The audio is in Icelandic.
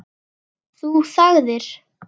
Þú þagðir.